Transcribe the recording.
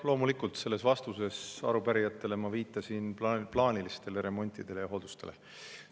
Loomulikult selles vastuses arupärijatele ma viitasin plaanilistele remontidele ja hooldustele.